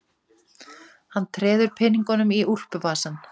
Hann treður peningunum í úlpuvasann.